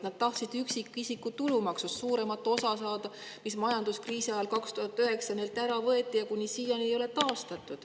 Nad tahtsid saada üksikisiku tulumaksust suuremat osa, mis majanduskriisi ajal 2009. aastal neilt ära võeti ja mida ei ole siiani taastatud.